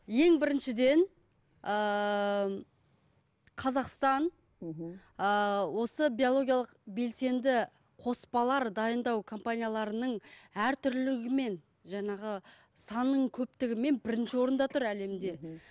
ең біріншіден ыыы қазақстан мхм ыыы осы биологиялық белсенді қоспалар дайындау компанияларының әртүрлілігімен жаңағы санның көптігімен бірінші орында тұр әлемде мхм